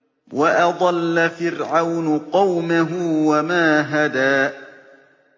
وَأَضَلَّ فِرْعَوْنُ قَوْمَهُ وَمَا هَدَىٰ